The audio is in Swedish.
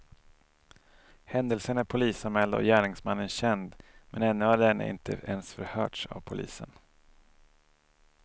Händelsen är polisanmäld och gärningsmannen känd, men ännu har denne inte ens förhörts av polisen.